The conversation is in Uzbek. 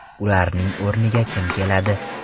Ularning o‘rniga kim keladi?